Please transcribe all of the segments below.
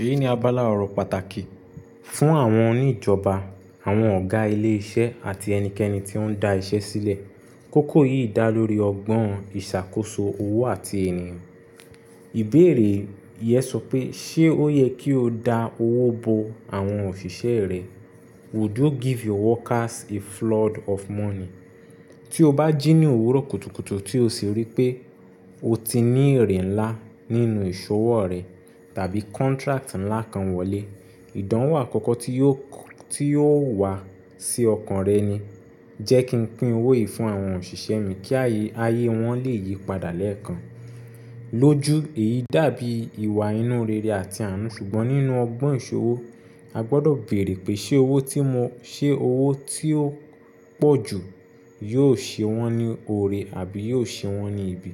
Èyí ni abala ọ̀rọ̀ pàtàkì fún àwọn oníjọba, àwọn ọ̀gá ilé iṣẹ́ àti ẹnikẹ́ni tí ó ń dá iṣẹ́ sílẹ̀. Kókó yìí dá lórí ọgbọ́n ìṣàkóso owó àti ènìyàn. Ìbéèrè yẹn sọ pé ṣé ó yẹ kí o dá owó bo àwọn òṣìṣẹ́ rẹ? Would you give your workers a flood of money? Tí o bá jí ní òwúrọ̀ kùtùkùtù tí o sì rí pé o ti ní èrè ńlá nínú ìṣòwò rẹ tàbí contract ńlá kan wọlé, ìdánwò àkọ́kọ́ tí yóò, tí yóò wá sí ọkàn rẹ ni jẹ́ kí n pín owó yìí fún àwọn òṣìṣẹ́ mi kí ayé, ayé wọ́n lè yípadà lẹ́ẹ̀kan. Lójú èyí dàbí ìwà inú rere àti àánú ṣùgbọ́n nínú ọgbọ́n ìṣòwò a gbọdọ̀ béèrè pé ṣé owó tí mo, ṣé owó tí ó pọ̀ jù yóò ṣe wọ́n ní ore àbí yóò ṣe wọ́n ní ibi?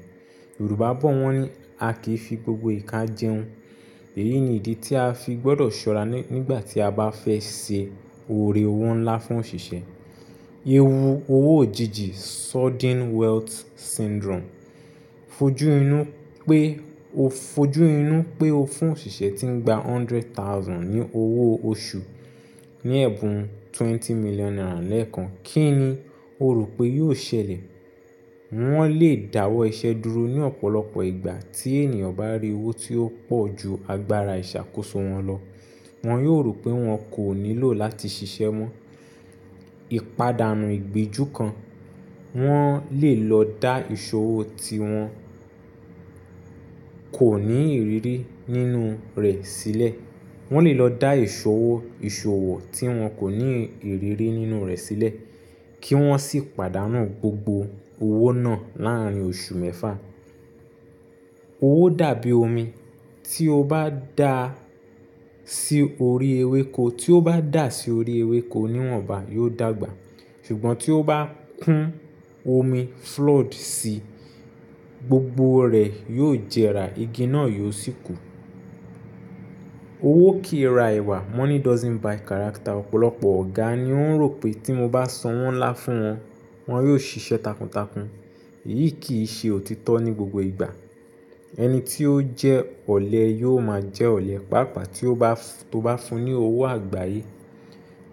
Yorùbá bọ wọ́n ní, a kì í fi gbogbo ìka jẹun. Èyí ni ìdí tí a fi gbọdọ̀ ṣọ́ra nígbà tí a bá fẹ́ ṣe ore owó ńlá fún òṣìṣẹ́. Ewu owó òjijì Sudden Wealth Syndrome. Fojú inú pé o, fojú inú pé o fún òṣìṣẹ́ tí ń gba hundred thousand ní owó oṣù ní ẹ̀bùn twenty million naira lẹ́ẹ̀kan, kí ni o rò pé yóò ṣẹlẹ̀? Wọ́n lè dáwọ́ iṣẹ́ dúró ní ọ̀pọ̀lọpọ̀ ìgbà tí ènìyàn bá rí owó tí ó pọ̀ ju agbára ìṣàkóso wọn lọ. Wọn yóò rò pé wọn kò nílò láti ṣiṣẹ́ mọ́. Ìpadàànù ìgbẹjú kan, wọ́n lè lọ dá ìṣòwò tí wọn kò ní ìrírí nínú rẹ̀ sílẹ̀. Wọ́n lè lọ dá ìṣòwò, ìṣòwò tí wọn kò ní ìrírí nínú rẹ̀ sílẹ̀ kí wọ́n sì pàdánù gbogbo owó náà láàárín oṣù mẹ́fà. Owó dàbí omi, tí ó bá dà sí orí ewéko, tí ó bá dà sí orí ewéko níwọ̀nba yóò dàgbà. Ṣùgbọ́n tí ó bá kún omi flood sí i, gbogbo rẹ̀ yóò jẹrà, igi náà yóò sì kú. Owó kìí ra ìwà. Money doesn't buy character. Ọ̀pọ̀lọpọ̀ ọ̀gá ni ó ń rò pé tí mo bá san wọ́n ńlá fún wọn, wọn yóò ṣiṣẹ́ takuntakun. Èyí kì í ṣe òtítọ́ ní gbogbo ìgbà. Ẹni tí ó jẹ́ ọ̀lẹ yóò máa jẹ́ ọ̀lẹ. Pàápàá tí o bá, tó bá fún ní owó àgbáyé,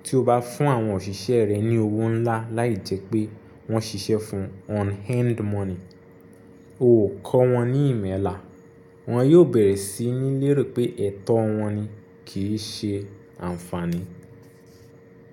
tí o bá fún àwọn òṣìṣẹ́ rẹ ní owó ńlá láì jẹ́ pé wọ́n ṣiṣẹ́ fún un on hand money, o kọ́ wọn ní ìmọ̀ ẹ̀lá. Wọn yóò bẹ̀rẹ̀ sí ní lérò pé ẹ̀tọ́ wọn ni kì í ṣe ànfàní.